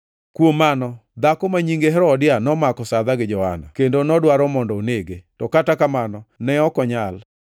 Kuom mano dhako ma nyinge Herodia nomako sadha gi Johana, kendo nodwaro mondo onege. To kata kamano ne ok onyal,